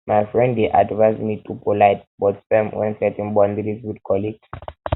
my friend dey advise me to be polite but firm when setting boundaries with um colleagues